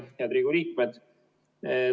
Head Riigikogu liikmed!